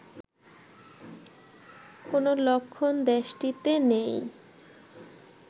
কোন লক্ষণ দেশটিতে নেই